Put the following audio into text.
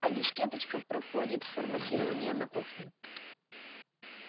а дискеточка проходит форматирование на кухне